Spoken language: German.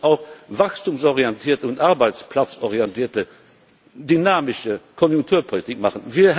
Man muss auch wachstumsorientierte und arbeitsplatzorientierte dynamische Konjunkturpolitik machen.